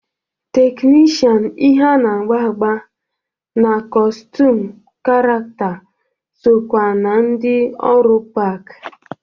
Teknishan ihe a na-agba agba na kọstum karakta sokwa na ndị ọrụ park.